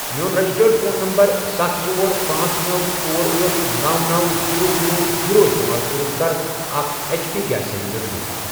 میون registered phone number ستھَ، ژور، پانژھ، نوَ، ژور، أٹھ، نوَ، نوَ، زیٖرو، زیٖرو، زیٖرو، استعمال کٔرِتھ کَر اکھ H P gas cylinder book.